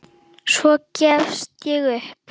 Svo gafst ég upp.